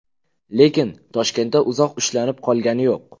Lekin Toshkentda uzoq ushlanib qolgani yo‘q.